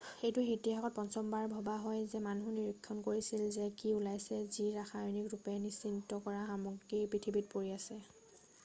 এইটো ইতিসাহত পঞ্চমবাৰ ভবা হয় যে মানুহে নিৰীক্ষণ কৰিছিল যে কি ওলাইছিল যি ৰাসায়নিক ৰূপে নিশ্চিত কৰা সামগ্ৰী পৃথিৱীত পৰি আছে৷